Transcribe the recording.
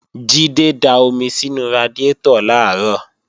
Jídé da omi sínú radiátọ̀ làárọ̀